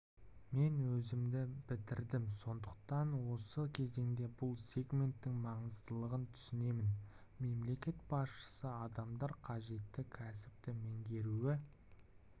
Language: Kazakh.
мен өзім бітірдім сондықтан осы кезеңде бұл сегменттің маңыздылығын түсінемін мемлекет басшысы адамдар қажетті кәсіпті меңгеруі